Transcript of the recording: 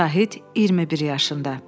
Şahid, 21 yaşında.